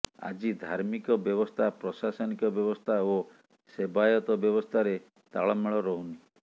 ଆଜି ଧାର୍ମିକ ବ୍ୟବସ୍ଥା ପ୍ରଶାସନିକ ବ୍ୟବସ୍ଥା ଓ ସେବାୟତ ବ୍ୟବସ୍ଥାରେ ତାଳମେଳ ରହୁନି